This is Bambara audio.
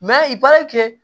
i b'a kɛ